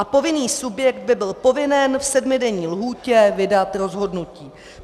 A povinný subjekt by byl povinen v sedmidenní lhůtě vydat rozhodnutí.